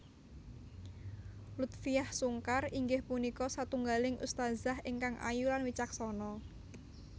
Lutfiah Sungkar inggih punika satunggaling ustadzah ingkang ayu lan wicaksana